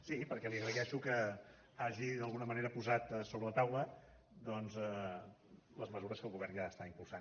sí perquè li agraeixo que hagi d’alguna manera posat sobre la taula doncs les mesures que el govern ja està impulsant